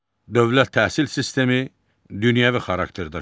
Dövlət təhsil sistemi dünyəvi xarakter daşıyır.